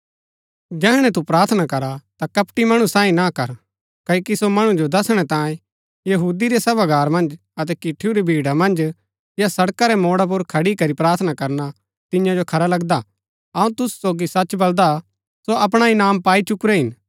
जैहणै तू प्रार्थना करा ता कपटी मणु साईं न कर क्ओकि सो मणु जो दसणै तांयें यहूदी रै सभागार मन्ज अतै किठुरी भीड़ा मन्ज या सड़का रै मोडा पुर खड़ी करी प्रार्थना करना तियां जो खरा लगदा अऊँ तुसु सोगी सच बलदा सो अपणा इनाम पाई चुकुरै हिन